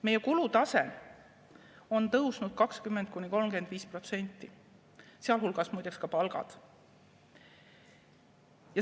Meie kulutase on tõusnud 20–35%, sealhulgas, muide, ka palgad.